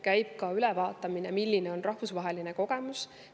Vaatame ka üle, milline on rahvusvaheline kogemus.